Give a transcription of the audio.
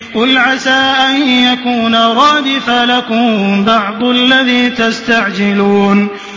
قُلْ عَسَىٰ أَن يَكُونَ رَدِفَ لَكُم بَعْضُ الَّذِي تَسْتَعْجِلُونَ